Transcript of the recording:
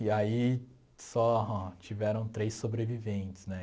E aí só tiveram três sobreviventes, né?